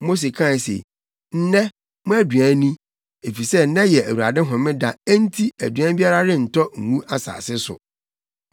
Mose kae se, “Nnɛ, mo aduan ni, efisɛ nnɛ yɛ Awurade homeda enti aduan biara rentɔ ngu asase so.